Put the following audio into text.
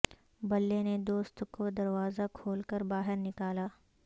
بلے نے دوست کو دروازہ کھول کر باہر نکالا